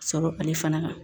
Sɔrɔ ale fana kan